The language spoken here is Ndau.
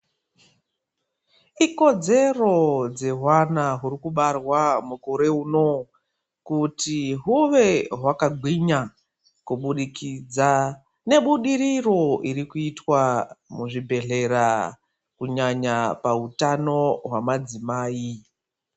Ikodzero dzevana vari kubarwa mukore uno kuti huve hwakagwinya kuburikidza nebudiriro muzvibhedhlera kunyanya pahutano hwemadzimai.